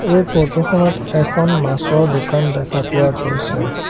এই ফৰ্টোখনত এখন মাছৰ দোকান দেখা পোৱা গৈছে।